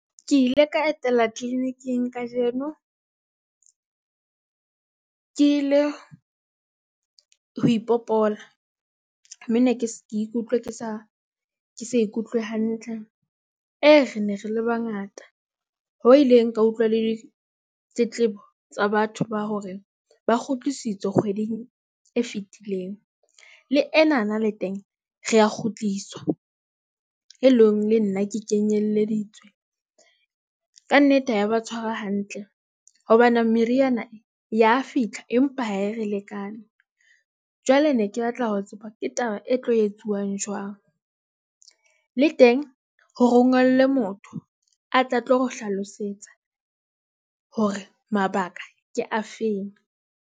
Ke ile ka etela clinic- ing kajeno ke ile ho ipopola me ne ke se ke ikutlwa ke sa ke sa ikutlwe hantle. Re ne re le bangata hoo ileng ka utlwa le tletlebo tsa batho ba hore ba kgutlisitswe kgweding e fitileng. Le enana le teng re a kgutliswa, e leng le nna ke ke nyeleditswe. Ka nnete ha e ya ba tshwara hantle hobane meriana e ya fitlha. Empa ha e re lekane, jwale ne ke batla ho tseba ke taba e tlo etsuwang jwang. Le teng ho rongellwe motho a tle a tlo re hlalosetsa hore mabaka ke afeng.